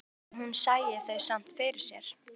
Sagði að hún sæi þau samt fyrir sér.